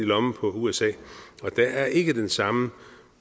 lommen på usa og det er ikke på den samme